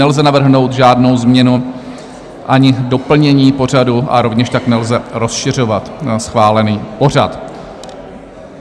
Nelze navrhnout žádnou změnu ani doplnění pořadu a rovněž tak nelze rozšiřovat schválený pořad.